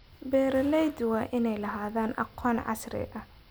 Beeralayda waa inay lahaadaan aqoon casri ah.